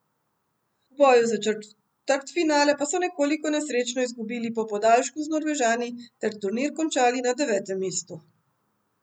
V boju za četrtfinale pa so nekoliko nesrečno izgubili po podaljšku z Norvežani ter turnir končali na devetem mestu.